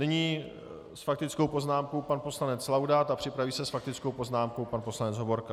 Nyní s faktickou poznámkou pan poslanec Laudát a připraví se s faktickou poznámkou pan poslanec Hovorka.